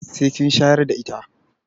Sai kin shayar da ita.